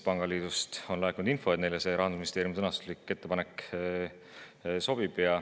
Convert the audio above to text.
Pangaliidust on laekunud info, et neile see Rahandusministeeriumi ettepaneku sõnastus sobib.